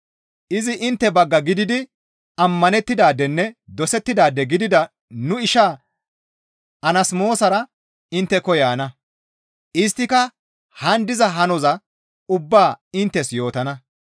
Izi intte bagga gididi ammanettidaadenne dosettidaade gidida nu ishaa Anasmoosara intteko yaana; isttika haan diza hanoza ubbaa inttes yootana.